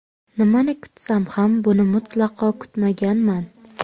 Nimani kutsam ham, buni mutlaqo kutmaganman.